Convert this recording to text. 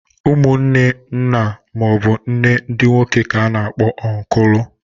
Umunne nna maọbụ nne ndị nwoke k'a na-akpọ ọnkụlụ.